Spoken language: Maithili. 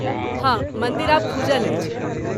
हँ, मन्दिर आब खूजल अछि।